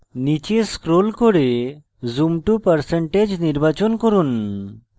নীচে scroll করে zoom to % নির্বাচন করুন